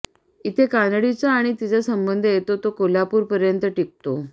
इथे कानडीचा आणि तिचा संबंध येतो तो कोल्हापूरपर्यंत टिकतो